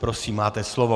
Prosím, máte slovo.